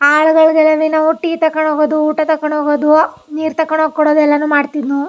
ಆಳುಗಳಿವಿ ನಾವು ಟೀ ತೊಕೊಂಡ್ ಹೋಗೋದು ಊಟ ತೊಕೊಂಡ್ ಹೋಗೋದು ನೀರ್ ತೊಕೊಂಡ್ ಹೋಗಿ ಕೊಡೋದು ಎಲ್ಲಾನು ಮಾಡತ್ತಿದ್ ನು.